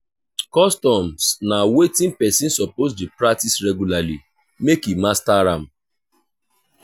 customs na wetin persin suppose de practice regulary make e master am